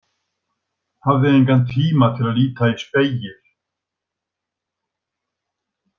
Hafði engan tíma til að líta í spegil.